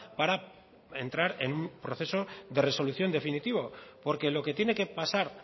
para entrar en un proceso de resolución definitivo porque lo que tiene que pasar